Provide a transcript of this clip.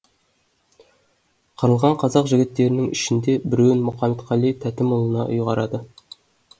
қырылған қазақ жігіттерінің ішінде біреуін мұқаметқали тәтімұлына ұйғарады